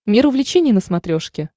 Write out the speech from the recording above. мир увлечений на смотрешке